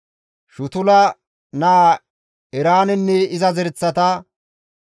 Shutula naa Eraanenne iza zereththata.